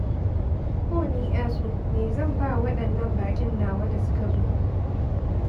Oh ni ƴasu me zan ba Waɗannan baƙin nawa da suka zo.